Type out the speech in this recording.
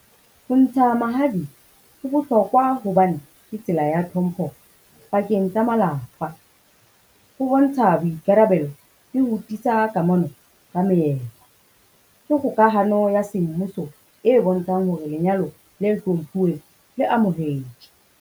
Ho ntsha mahadi ho bohlokwa hobane ke tsela ya tlhompho pakeng tsa malapa. Ho bontsha boikarabelo le ho tiisa kamano ka moetlo. Ke kgokahano ya semmuso e bontshang hore lenyalo le hlomphiwe le amohetswe.